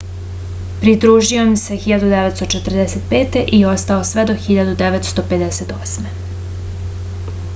pridružio im se 1945. i ostao je sve do 1958